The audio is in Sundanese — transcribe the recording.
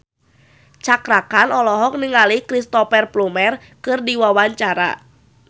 Cakra Khan olohok ningali Cristhoper Plumer keur diwawancara